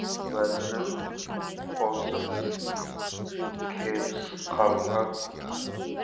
уәзірін қосып кебіс қалған